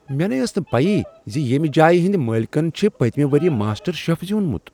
مےٚ نے ٲس نہٕ پیی ز ییٚمہ جایہ ہٕنٛدۍ مٲلۍکن چھ پٔتۍمہ ؤریہ ماسٹر شف زیٛوٗنمت۔